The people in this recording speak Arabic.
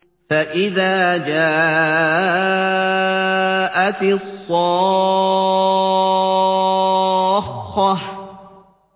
فَإِذَا جَاءَتِ الصَّاخَّةُ